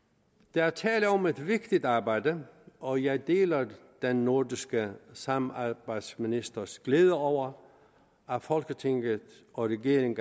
der er tale om et vigtigt arbejde og jeg deler den nordiske samarbejdsministers glæde over at folketinget og regeringen